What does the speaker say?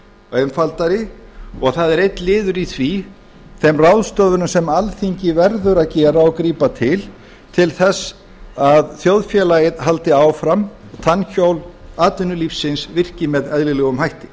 einfaldari og það er einn liður í þeim ráðstöfunum sem alþingi verður að gera og grípa til til þess að þjóðfélagið haldi áfram tannhjól atvinnulífsins virki með eðlilegum hætti